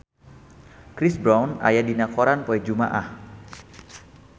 Chris Brown aya dina koran poe Jumaah